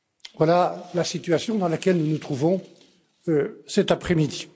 Voilà la situation dans laquelle nous nous trouvons cet après midi.